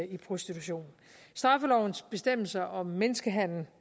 i prostitution straffelovens bestemmelser om menneskehandel